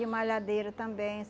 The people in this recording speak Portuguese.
E malhadeira também.